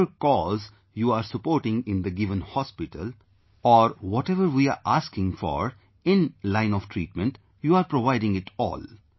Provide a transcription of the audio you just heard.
Whatever cause you are supporting in the given hospital or whatever we are asking for in line treatment, you are providing it all